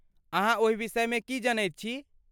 अहाँ ओहि विषयमे की जनैत छी?